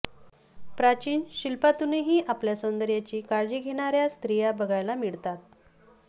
प्राचीन शिल्पांतूनही आपल्या सौंदर्याची काळजी घेणाऱ्या स्त्रिया बघायला मिळतात